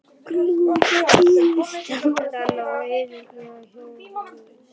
Klofa yfir staflana og yfirgefa óhljóðin.